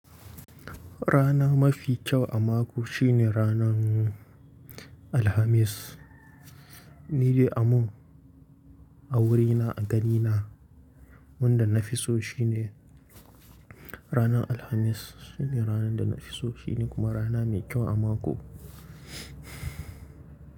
Rana mafi kyau a mako shine ranan Alhamis. Ni dai amon a wurina, a ganina wanda na fi so shine rana Alhamis. Shine rana da na fi so shine kuma rana mai kyau a mako.